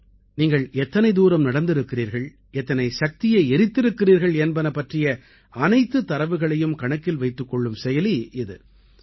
நீங்கள் எத்தனை தூரம் நடந்திருக்கிறீர்கள் எத்தனை சக்தியை எரித்திருக்கிறீர்கள் என்பன பற்றிய அனைத்துத் தரவுகளையும் கணக்கில் வைத்துக் கொள்ளும் செயலி இது